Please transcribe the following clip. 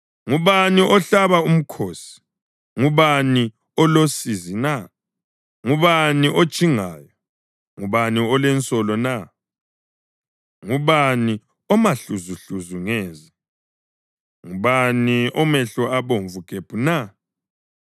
Ngubani ohlaba umkhosi? Ngubani olosizi na? Ngubani otshingayo? Ngubani olensolo na? Ngubani omahluzuhluzu ngeze? Ngubani omehlo abomvu gebhu na?